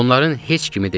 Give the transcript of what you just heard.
Onların heç kimi deyildim.